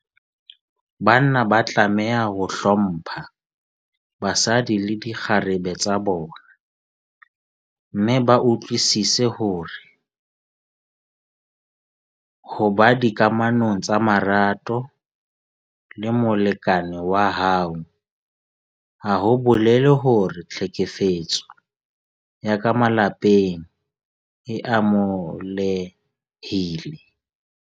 Banna ba tlameha ho hlompha basadi le dikgarebe tsa bona mme ba utlwisise hore ho ba dikamanong tsa marato le molekane wa hao ha ho bolele hore tlhekefetso ya ka malapeng e amohelehile.